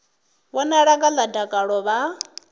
vhonala vho ḓala dakalo vha